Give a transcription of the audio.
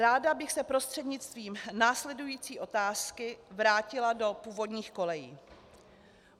Ráda bych se prostřednictvím následující otázky vrátila do původních kolejí.